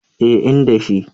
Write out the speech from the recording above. Eh, inda shi